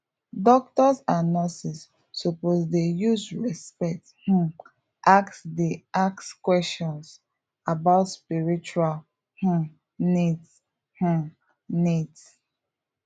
doctors and nurses suppose dey use respect um ask dey ask questions about spiritual um needs um needs